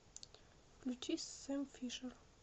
включи сэм фишер